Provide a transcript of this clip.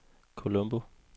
Colombo